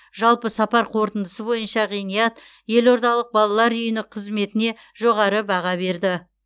жалпы сапар қорытындысы бойынша ғиният елордалық балалар үйінің қызметіне жоғары баға берді